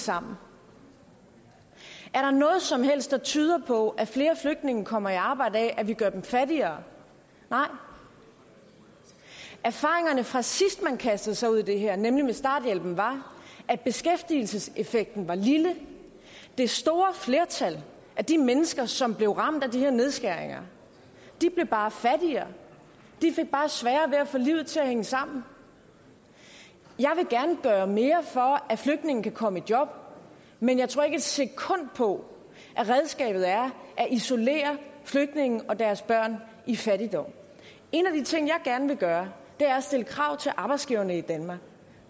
sammen er der noget som helst der tyder på at flere flygtninge kommer i arbejde af at vi gør dem fattigere nej erfaringerne fra sidst man kastede sig ud i det her nemlig med starthjælpen var at beskæftigelseseffekten var lille det store flertal af de mennesker som blev ramt af de her nedskæringer blev bare fattigere de fik bare sværere ved at få livet til at hænge sammen jeg vil gerne gøre mere for at flygtninge kan komme i job men jeg tror ikke et sekund på at redskabet er at isolere flygtninge og deres børn i fattigdom en af de ting jeg gerne vil gøre er at stille krav til arbejdsgiverne i danmark